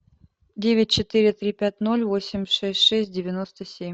девять четыре три пять ноль восемь шесть шесть девяносто семь